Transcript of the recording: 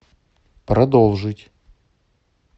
продолжить